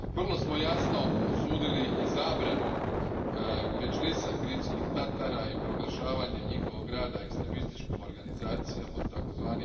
Vrlo smo jasno osudili i zabranu Medžlisa Krimskih Tatara i proglašavanje njihova rada ekstremističkom organizacijom od tzv.